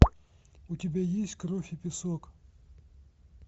у тебя есть кровь и песок